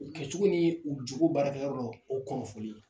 U kɛcogo ni u jogo baarakɛyɔrɔ la o kunnafoni